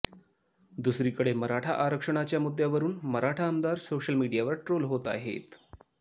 दुसरीकडे मराठा आरक्षणाच्या मुद्यावरून मराठा आमदार सोशल मीडियावर ट्रोल होत आहेत